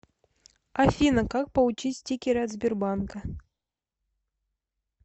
афина как получить стикеры от сбербанка